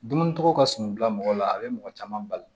Dumuni tɔgɔ ka suman bila mɔgɔ la a bɛ mɔgɔ caman bali